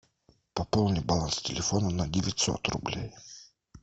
пополни баланс телефона на девятьсот рублей